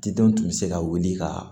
Tidenw tun bɛ se ka wuli ka